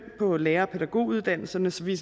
på lærer og pædagoguddannelserne så vi